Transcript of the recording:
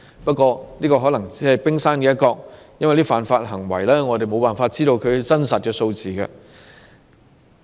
不過，這可能只是冰山一角，因為對於這些犯法行為，我們沒有辦法確知真實數字。